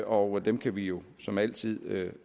og dem kan vi jo som altid